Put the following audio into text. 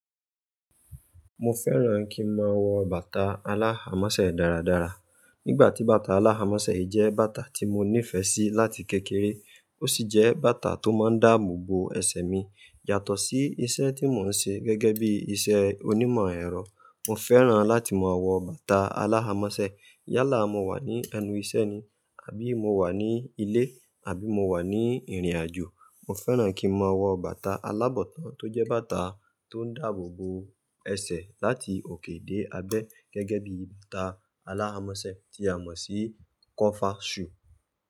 Mo fẹ́ràn kín máa wọ bàtà aláhamọ́sẹ́ dáradára. Nígbà tí bàtà aláhamọ́sẹ́ yí jẹ́ bàtà tí mo nífẹ̀ẹ́ sí láti kékeré ó sì jẹ́ bàtà tó máa ń dáàbò bo ẹsẹ̀ mi yàtọ̀ sí iṣẹ́ tí mo ń ṣe gẹ́gẹ́ bí iṣẹ́ onímọ̀ ẹ̀rọ. Mo fẹ́ràn láti máa wọ bàtà aláhamọ́sẹ́ yálà mo wà ní ẹnu iṣẹ́ ni àbí mo wà ní ilé àbí mo wà ní ìrìnàjò. Mo fẹ́ràn kín máa wọ bàtà alábọ̀tán tó jẹ́ bàtà tó ń dáàbò bo ẹsẹ̀ láti òkè dé abẹ́ gẹ́gẹ́ bí bàtà aláhamọ́sẹ́ tí a mọ̀ sí kọfà ṣù.